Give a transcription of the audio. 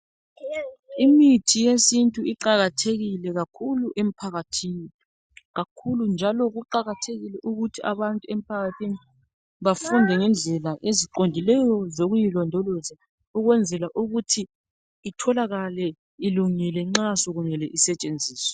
imithi yesintu iqakathekile kakhulu emphakathini kakhulu njalo kuqakathekile ukuthi abantu emphakahthini bafunde ngendlela eziqondileyo zokuyilondloza ukwenzela ukuthi itholakale ilungile nxa sekumele isetshenziswe